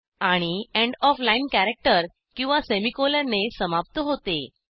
आणि end of line character किंवा सेमीकोलनने समाप्त होते